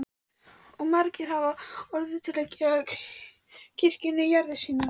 Og margir hafa orðið til að gefa kirkjunni jarðir sínar.